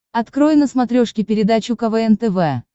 открой на смотрешке передачу квн тв